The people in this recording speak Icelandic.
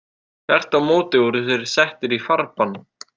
Þvert á móti voru þeir settir í farbann.